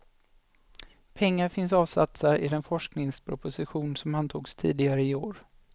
Pengar finns avsatta i den forskningsproposition som antogs tidigare i år.